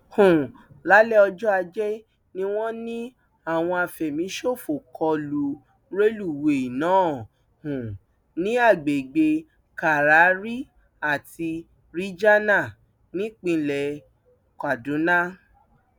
um lálẹ ọjọ ajé ni wọn ní àwọn àfẹmíṣòfò kọ lu rélùwéèe náà um ní agbègbè kárárì àti ríjana nípìnlẹ kaduna